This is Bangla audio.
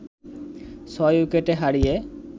৬ উইকেটে হারিয়ে